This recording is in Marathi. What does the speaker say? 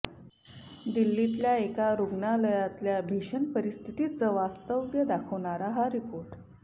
दिल्लीतल्या एका रुग्णालयातल्या भीषण परिस्थितीचं वास्तव दाखवणारा हा रिपोर्ट